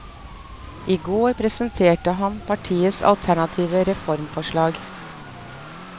I går presenterte han partiets alternative reformforslag.